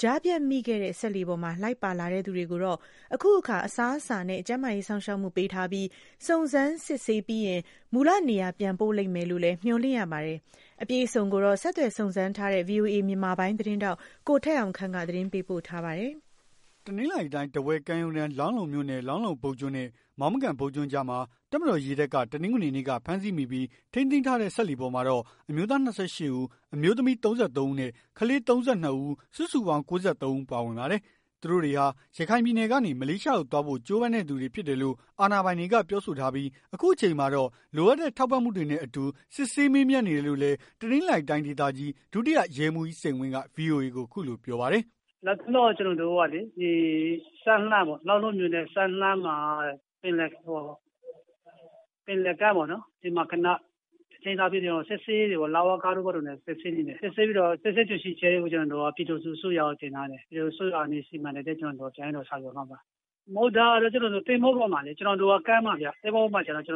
ကြားဖြတ်မိခဲ့တဲ့ စက်လှေပေါ်မှာ လိုက်ပါလာသူတွေကိုတော့ အခုအခါ အစားအစာနဲ့ ကျန်းမာရေး စောင့်ရှောက်မှုပေးထားပြီး၊ စုံစမ်းစစ်ဆေးပြီးနောက် မူလနေရာ ပြန်ပို့လိမ့်မယ်လို့လည်း မျှော်လင့်ရပါတယ်။ အပြည့်အစုံကိုတော့ ဆက်သွယ်စုံစမ်းထားတဲ့ ဗွီအိုအေမြန်မာပိုင်း သတင်းထောက် ကိုထက်အောင်ခန့်က သတင်းပေးပို့ ထားပါတယ်။ တနင်္သာရီတိုင်း ထားဝယ်ကမ်းရိုးတန်း လောင်းလုံမြို့နယ် လောင်းလုံဘုတ်ကျွန်းနဲ့ မောင်းမကန်ဘုတ်ကျွန်းကြားမှာ တပ်မတော် ရေတပ်က တနင်္ဂနွေနေ့က ဖမ်းဆီးမိပြီး ထိန်းသိမ်းထားတဲ့ စက်လှေပေါ်မှာတော့ အမျိုးသား ၂၈ ဦး အမျိုးသမီး ၃၃ ဦးနဲ့ ကလေး ၃၂ ဦး စုစုပေါင်း ၉၃ ဦး ပါဝင်ပါတယ်။ သူတို့တွေဟာ ရခိုင်ပြည်နယ်ကနေ မလေးရှားကို သွားဖို့ ကြိုးပမ်းတဲ့သူတွေ ဖြစ်တယ်လို့ အာဏာပိုင်တွေက ပြောဆိုထားပြီး၊ အခုအခါမှာတော့ လိုအပ်တဲ့ ထောက်ပံ့မှုတွေနဲ့အတူ စစ်ဆေးမေးမြန်းနေတယ်လို့လည်း တနင်္သာရီတိုင်း ဒေသကြီး ဒုတိယ ရဲမှူးကြီး စိန်ဝင်းက ဗွီအိုအေကို အခုလိုပြောပါတယ်။ "လတ်တလော ကျွန်တော်တို့ကလေ စမ်းလှမ်း လောင်းလုံမြို့နယ် စမ်းလှမ်းမှာ ပင်လယ်ကမ်းပေ့ါနော် ခဏ ထိန်းထားပြီး စစ်ဆေးနေတယ်ပေါ့ လဝကတို့ဘာတို့နဲ့စစ်ဆေးနေတယ်။ စစ်ဆေးပြီးတော့ စစ်ဆေး တွေ့ရှိ ချက်ကို ပြည်ထောင်စု အစိုးရကို တင်ထားတယ်။ ပြည်ထောင်စုအစိုးရကနေ စီမံတဲ့အတိုင်း ကျွန်တော်တို့က ဆောင်ရွက်သွားမှာပါ။ သင်္ဘောပေါ်မှာလေ ကမ်းမှာဗျ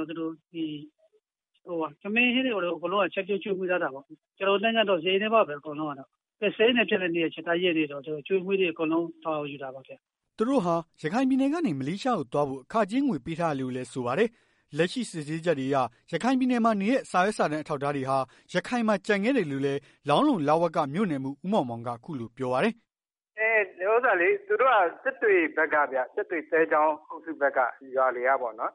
။ သူတို့ထမင်းဟင်းတွေဘာတွေ ချက်ပြုတ်ကျွေးမွေး ထားတာပေါ့။ ကျွန်တော်တို့ နိုင်ငံတော် စရိတ်နဲ့ပါပဲအကုန်လုံးက ကယ်ဆယ်ရေးနဲ့ ပြန်လည်နေရာချထားရေး ကနေပြီးတော့ အကျွေးအမွေးတွေ အကုန်တာဝန်ယူထားတာပေါ့။" သူတို့ဟာ ရခိုင်ပြည်နယ်ကနေ မလေးရှားကို သွားဖို့ အခကြေးငွေ ပေးထားရတယ်လို့လည်း ဆိုပါတယ်။ လက်ရှိစစ်ဆေးချက်တွေအရ ရခိုင်ပြည်နယ်မှာနေတဲ့ စာရွက်စာတမ်း အထောက်အထားတွေဟာ ရခိုင်မှာ ကျန်ခဲ့တယ်လို့ လောင်းလုံလဝက မြို့နယ်မှူး ဦးမောင်မောင်က အခုလိုပြောပါတယ်။ "သူတို့က စစ်တွေဘက်ကဗျ စစ်တွေသဲချောင်းအုပ်စုဘက်က ရွာတွေကပေါ့ဗျာ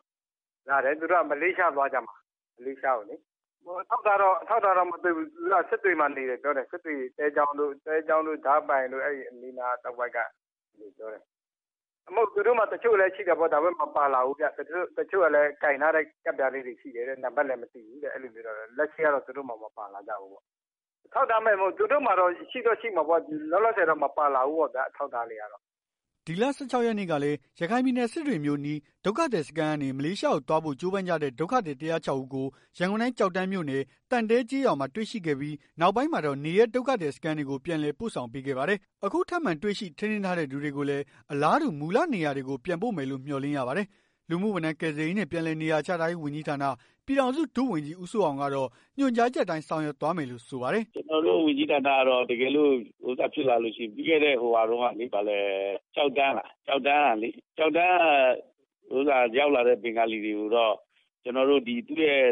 လာတယ်။ သူတို့က မလေးရှား သွားကြမှာ။ မလေးရှားကိုလေ။ အထောက်အထားတော့မတွေ့ဘူး။ စစ်တွေမှာ နေတယ်ပြောတယ်။ စစ်တွေ သဲချောင်းတို့ ဒါးပိုင်တို့ အဲ့အနီးနား တဝိုက်ကလို့ပြောတယ်။ သူတို့မှာ တချို့လည်းရှိတာပေါ့။ မပါလာဘူး။ တချို့ကလည်း ကိုင်ထားတဲ့ ကဒ်ပြားလေးတွေရှိတယ်။ နံပတ်လည်းမသိဘူး အဲ့လိုတော့ပြောတယ်။ လက်ရှိကတော့ သူတို့မှာ မပါလာကြဘူး။ အထောက်ထားမဲ့တော့မဟုတ်ဘူး သူတို့မှာ ရှိတော့ရှိမှာပေါ့။ လောလောဆယ်တော့ မပါလာဘူးပေါ့ဗျာ အထောက်အထားတွေကတော့။" ဒီလ ၁၆ ရက်နေ့ကလည်း ရခိုင်ပြည်နယ် စစ်တွေမြို့အနီး ဒုက္ခသည်စခန်းကနေ မလေးရှားကိုသွားဖို့ ကြိုးပမ်းကြတဲ့ ဒုက္ခသည် ၁၀၆ ဦးကို ရန်ကုန်တိုင်း ကျောက်တန်းမြို့နယ် သံတဲကျေးရွာမှာ တွေ့ရှိခဲ့ပြီး နောက်ပိုင်းမှာတော့ နေရပ်ဒုက္ခသည် စခန်းတွေကို ပြန်လည် ပို့ဆောင်ပေးခဲ့ပါတယ်။ အခုထပ်မံတွေ့ရှိ ထိန်းသိမ်းထားတဲ့ သူတွေကိုလည်း အလားတူ မူလနေရာတွေကို ပြန်ပို့မယ်လို့ မျှော်လင့်ရပါတယ်။ လူမှုဝန်ထမ်းကယ်ဆယ်ရေးနဲ့ ပြန်လည်နေရာချထားရေး ဝန်ကြီးဌာန ပြည်ထောင်စု ဒုဝန်ကြီး ဦးစိုးအောင်ကတော့ ညွှန်ကြားချက်အတိုင်း ဆောင်ရွက်သွားမယ်လို့ ဆိုပါတယ်။ "ကျွန်တော်တို့ဝန်ကြီးဌာနက တကယ်လို့ ပြီးခဲ့တဲ့ ကျောက်တန်းက ရောက်လာတဲ့ ဘင်္ဂလီတွေကိုတော့ သူတို့ရဲ့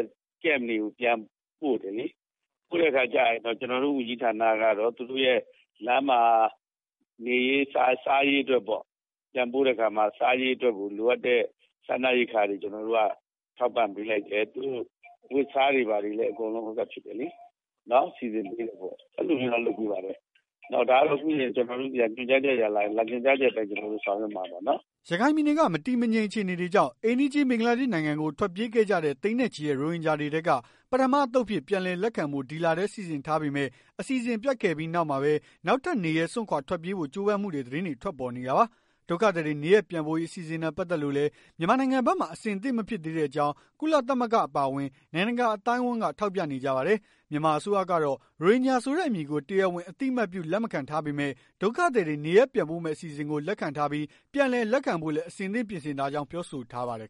Camp တွေကို ပြန်ပို့တယ်လေ။ ပြန်ပို့တဲ့အခါကျတော့ ကျွန်တော်တို့ ဝန်ကြီးဌာနကတော့ သူတို့ရဲ့ လမ်းမှာ နေရေး စားရေးအတွက်ပေါ့ ပြန်ပို့တဲ့အခါမှာ စားရေးတို့အတွက်ပေါ့ လိုအပ်တဲ့ စားနပ်ရိက္ခာတွေ ထောက်ပံ့ ပေးလိုက်တယ်။ သူတို့အဝတ်အစားတွေဘာတွေလည်း စီစဉ်ပေးတယ်ပေါ့။ အဲ့လိုလုပ်ပေးပါတယ်။ ဒါကတော့ ညွှန်ကြားချက်သာလာရင် ညွှန်ကြားချက်အတိုင်း ဆောင်ရွက်မှာပေါ့နော်။" ရခိုင်ပြည်နယ်က မတည်မငြိမ် အခြေအနေတွေကြောင့် အိမ်နီးချင်း ဘင်္ဂလားဒေ့ရှ် နိုင်ငံကို ထွက်ပြေးခဲ့ကြတဲ့ သိန်းနဲ့ချီတဲ့ ရိုဟင်ဂျာတွေထဲက ပထမအသုတ်အဖြစ် ပြန်လည်လက်ခံဖို့ ဒီလထဲမှာ စီစဉ်ထားပေမဲ့ အစီအစဉ်ပျက်ခဲ့ပြီး နောက်မှာပဲ၊ နောက်ထပ် နေရပ်စွန့်ခွာ ထွက်ပြေးဖို့ ကြိုးပမ်းမှု သတင်းတွေထွက်ပေါ်လာနေတာပါ။ ဒုက္ခသည်တွေ နေရပ်ပြန်ပို့ရေး အစိအစဉ်နဲ့ ပတ်သက်လို့လည်း မြန်မာနိုင်ငံဖက်မှာ အဆင်သင့်မဖြစ်သေးတဲ့အကြောင်း ကုလသမဂ္ဂ အပါအဝင် နိုင်ငံတကာ အသိုင်းအဝန်းက ထောက်ပြနေကြတာပါ။ မြန်မာအစိုးရကတော့ ရိုဟင်ဂျာဆိုတဲ့ အမည်ကို တရားဝင် အသိအမှတ်ပြု လက်ခံမထားပေမဲ့ ဒုက္ခသည်တွေ နေရပ်ပြန်ပို့မယ့် အစီအစဉ်ကို လက်ခံထားပြီး၊ ပြန်လည်လက်ခံဖို့လည်း အဆင်သင့် ပြင်ဆင်ထားကြောင်းလည်း ပြောဆိုထားပါတယ်